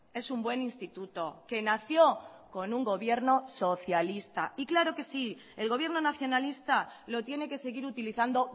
es un buen instituto que nació con un gobierno socialista y claro que sí el gobierno nacionalista lo tiene que seguir utilizando